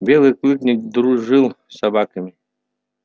белый клык не дружил с собаками